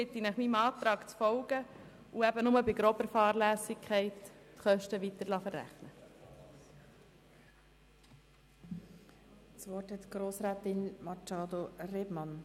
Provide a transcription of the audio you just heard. Ich bitte Sie deshalb, meinem Antrag zu folgen und nur bei grober Fahrlässigkeit die Möglichkeit zu gewähren, die Kosten weiterzuverrechnen.